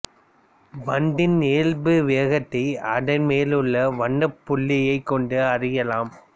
பந்தின் இயல்பு வேகத்தை அதன் மேல் உள்ள வண்ணப்புள்ளியைக் கொண்டு அறியலாம்